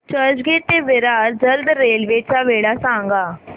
चर्चगेट ते विरार जलद रेल्वे च्या वेळा सांगा